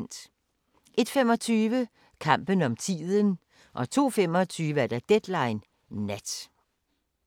01:25: Kampen om tiden 02:25: Deadline Nat